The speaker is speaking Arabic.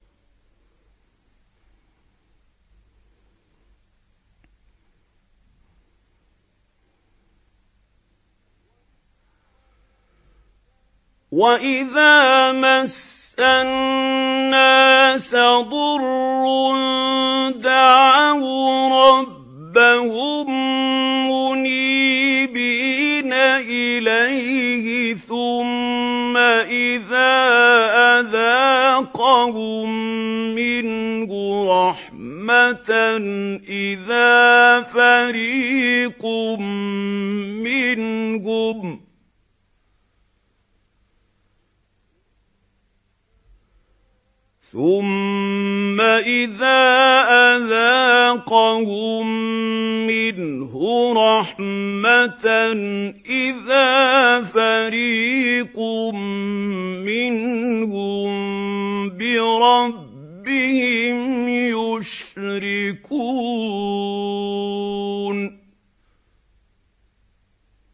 وَإِذَا مَسَّ النَّاسَ ضُرٌّ دَعَوْا رَبَّهُم مُّنِيبِينَ إِلَيْهِ ثُمَّ إِذَا أَذَاقَهُم مِّنْهُ رَحْمَةً إِذَا فَرِيقٌ مِّنْهُم بِرَبِّهِمْ يُشْرِكُونَ